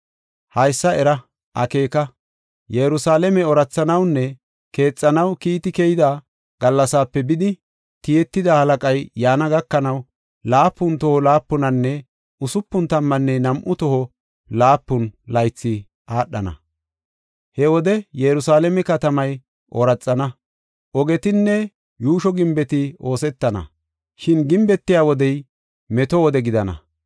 “Haysa era; akeeka. Yerusalaame oorathanawunne keexanaw kiiti keyida gallasaape bidi tiyetida Halaqay yaana gakanaw, laapun toho laapunanne usupun tammanne nam7u toho laapun laythi aadhana. He wode Yerusalaame katamay ooraxana; ogetinne yuusho gimbeti oosetana; shin gimbetiya wodey, meto wode gidana.